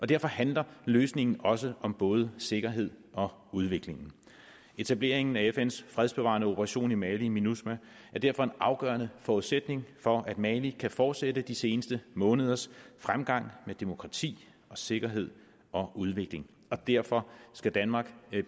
derfor handler løsningen også om både sikkerhed og udvikling etablering af fns fredsbevarende operation i mali minusma er derfor en afgørende forudsætning for at mali kan fortsætte de seneste måneders fremgang med demokrati og sikkerhed og udvikling og derfor skal danmark